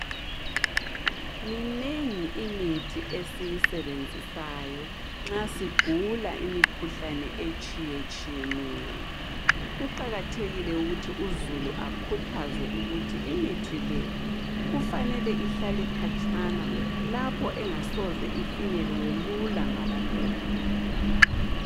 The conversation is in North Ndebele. Minengi imithi esiyisebenzisayo nxa sigula imikhuhlane etshiyetshiyeneyo. Kuqakathekile ukuthi uzulu akhuthazwe ukuthi imithi le kufanele ihlale khatshana lapho engasoze ifinyelelwe lula ngabantwana.